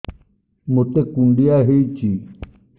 ମୋତେ କୁଣ୍ଡିଆ ହେଇଚି